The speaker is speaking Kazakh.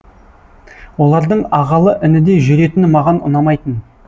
олардың ағалы інідей жүретіні маған ұнамайтын